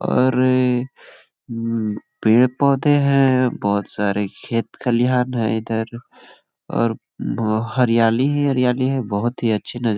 और ए उम् पेड़-पौधे है बहोत सारे खेत खलिहान है इधर और उम् बहो हरयाली ही हरयाली है बहोत अच्छी नजा--